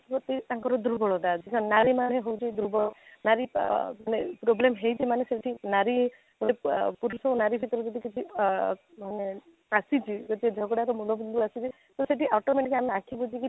ପ୍ରତି ତାଙ୍କର ଦୁର୍ବଳତା ଅଛି ନାରୀ ମାନେ ହଉଛି ଦୁର୍ବଳ ନାରୀ ଆଃ ମାନେ ପ୍ରୋବ୍ଲେମ ହେଇଛି ମାନେ ସେଠି ନାରୀ ଗୋଟେ ପୁରୁଷ ନାରୀ ଭିତରେ କିଛି ଆଃ ମାନେ ଆସିଛି ତ ସେଇ ଝଗଡ଼ାରେ ମୁଣ୍ଡ ବିନ୍ଧା ଆସିଛି ତ ସେଠି automatic ଆମେ ଆଖି ବୁଜି କି